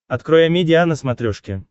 открой амедиа на смотрешке